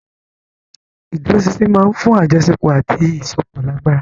Ìdúróṣinṣin máa ń fún àjọṣepọ̀ àti ìsopọ̀ lágbára.